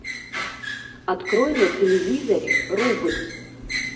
открой на телевизоре рубль